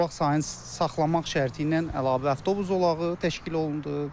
Zolaq sayını saxlamaq şərti ilə əlavə avtobus zolağı təşkil olundu.